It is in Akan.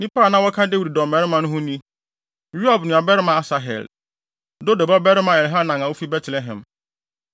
Nnipa a na wɔka Dawid dɔmmarima no ho ni: Yoab nuabarima Asahel; Dodo babarima Elhanan a ofi Betlehem;